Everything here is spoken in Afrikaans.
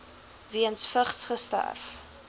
weens vigs sterf